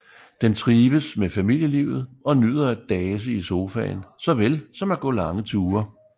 Den trives med familielivet og nyder at dase i sofaen såvel som at gå lange ture